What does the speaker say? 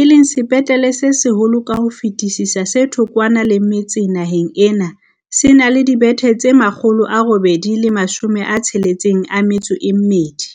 e leng sepetlele se seholo ka ho fetisisa se thokwana le metse naheng ena, se na le dibethe tse 862.